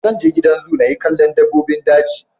Zan je gidan zoo na ga dabbobin daji